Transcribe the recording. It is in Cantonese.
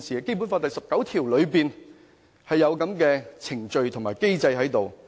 《基本法》第十九條有這樣的程序及機制。